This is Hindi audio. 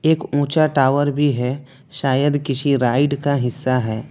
एक ऊंचा टावर भी है शायद किसी राइड का हिस्सा है।